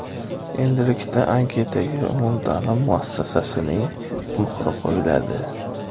Endilikda anketaga umumta’lim muassasasining muhri qo‘yiladi.